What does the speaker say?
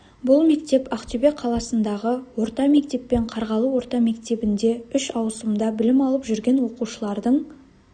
бұл мектеп ақтөбе қаласындағы орта мектеп пен қарғалы орта мектебінде үш ауысымда білім алып жүрген оқушылардың